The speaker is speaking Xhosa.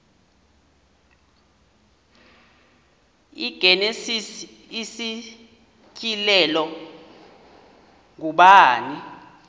igenesis isityhilelo ngubani